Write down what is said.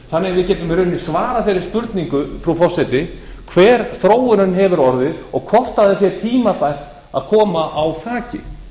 þannig að við getum í rauninni svarað þeirri spurningu frú forseti hver þróunin hefur orðið og hvort það sé tímabært að koma á þaki